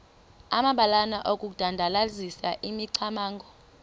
amabalana okudandalazisa imicamango